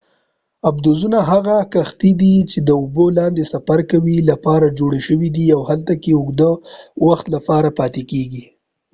آبدوزونه هغه کښتۍ دي چې د اوبو لاندې سفر کولو لپاره جوړې شوي دي او هلته کې د اوږد وخت لپاره پاتې کیږي